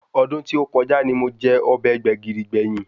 Ọdún tí ó kọjá ni mo jẹ ọbẹ̀ Gbẹ̀gìrì gbẹ̀yìn